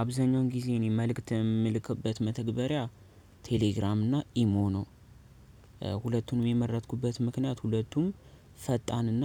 አብዛኛውን ጊዜ እኔ መልእክት የምልክበት መተግበሪያ ቴሌግራም እና ኢሞ ነው ሁለቱንም የመረጥኩበት ምክንያት ሁለቱም ፈጣንና